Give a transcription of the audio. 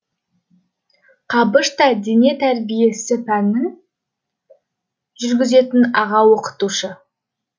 қабыш та дене тәрбиесі пәнін жүргізетін аға оқытушы